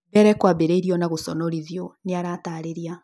Mbere kwambĩrĩirie na gũconorithio’’ nĩaratarĩria